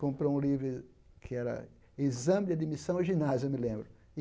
Comprou um livro que era exame de admissão ao ginásio, eu me lembro.